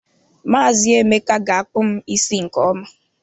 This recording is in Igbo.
Maazi Emeka ga akpu m isi nke ọma.